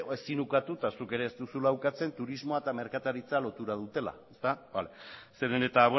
ezik ukatu eta zuk ere ez duzula ukatzen turismoa eta merkataritza lotura dutela ezta zeren eta